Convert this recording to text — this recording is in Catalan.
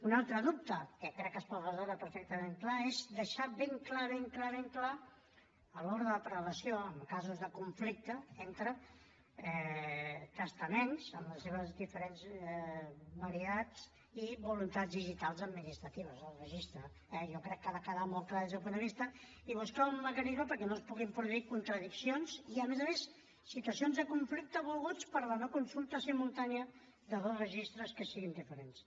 un altre dubte que crec que es pot resoldre perfectament és deixar ben clar ben clar ben clar a l’hora de prelació en casos de conflicte entre testaments amb les seves diferents varietats i voluntats digitals administratives el registre eh jo crec que ha de quedar molt clar des d’aquest punt de vista i buscar un mecanisme perquè no es puguin produir contradiccions ni a més a més situacions de conflicte no volgudes per la no consulta simultània de dos registres que siguin diferents